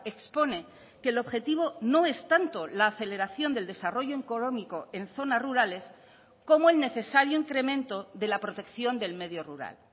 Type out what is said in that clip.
expone que el objetivo no es tanto la aceleración del desarrollo económico en zonas rurales como el necesario incremento de la protección del medio rural